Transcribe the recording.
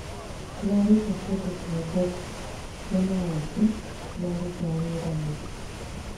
Tũraruta kĩndũ kĩa ngombo kĩna ũũmbi kĩraruta wĩra na